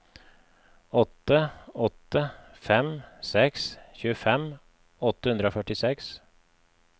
åtte åtte fem seks tjuefem åtte hundre og førtiseks